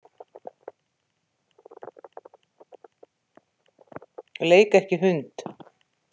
Leik ekki hund.